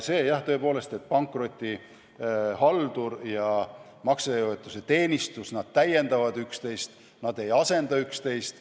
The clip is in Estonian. Jah, tõepoolest, pankrotihaldur ja maksejõuetuse teenistus täiendavad üksteist, nad ei asenda üksteist.